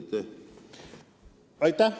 Aitäh!